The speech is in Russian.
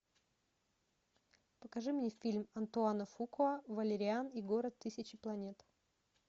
покажи мне фильм антуана фукуа валериан и город тысячи планет